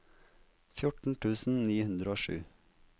fjorten tusen ni hundre og sju